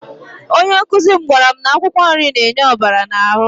Onye nkụzi m gwara m na akwụkwọ nri na-enye ọbara n'ahụ.